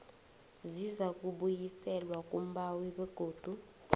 zizakubuyiselwa kumbawi begodu